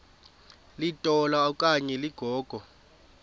litola okanye ligogo